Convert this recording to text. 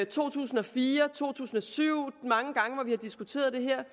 to tusind og fire to tusind og syv de mange gange vi har diskuteret det her